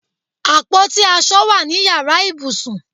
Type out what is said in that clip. Àpótí aṣọ wà ní yàrá ìbùsùn